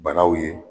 Banaw ye